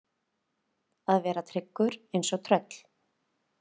Að vera tryggur eins og tröll